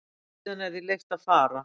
Síðan er því leyft að fara.